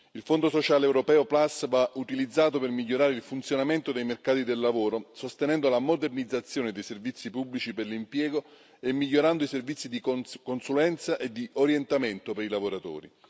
Il Fondo sociale europeo Plus va utilizzato per migliorare il funzionamento dei mercati del lavoro, sostenendo la modernizzazione dei servizi pubblici per l'impiego e migliorando i servizi di consulenza e di orientamento per i lavoratori.